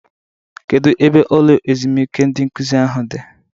Kedụ ebe ụlọ ezumike ndị nkụzi ahụ dị?